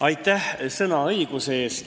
Aitäh sõnaõiguse eest!